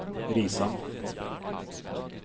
Risan